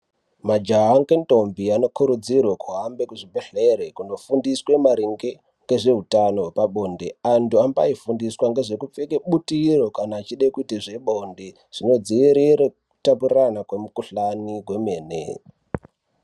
Majaha ngendombi anokurudzirwe kuhambe kuzvibhehlere kunofundiswe maringe ngezveutano hwepabonde. Antu ambaifundiswa ngezvekupfeke butiro kana achide kuite zvebonde zvinodziirire kutapurirana kwemikhuhlani kwemene.